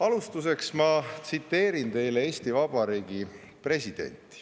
Alustuseks ma tsiteerin teile Eesti Vabariigi presidenti.